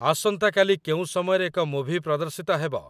ଆସନ୍ତାକାଲି କେଉଁ ସମୟରେ ଏକ ମୁଭି ପ୍ରଦର୍ଶିତ ହେବ ?